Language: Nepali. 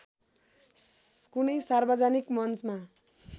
कुनै सार्वजनिक मञ्चमा